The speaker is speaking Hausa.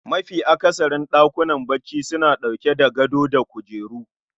Mafi akasarin ɗakunan bacci suna ɗauke da gado da kujeru